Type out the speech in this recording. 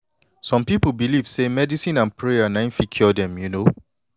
some pipu believe say medicine and prayer na em fit cure dem you know